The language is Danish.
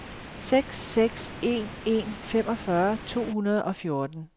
seks seks en en femogfyrre to hundrede og fjorten